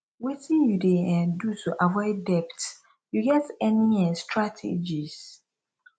wetin you dey um do to avoid debt you get any um strategies